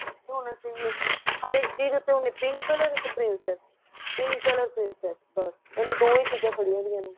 ਹੋਣੇ ਚਾਹੀਏ ਹਰ ਇੱਕ ਚੀਜ ਉੱਤੇ pink color ਤੇ pink ਅ pink color pink ਬਸ ਉਹਨੇ ਦੋ ਹੀ ਚੀਜਾਂ ਫੜੀਆਂ ਹੋਇਆ ਨੇ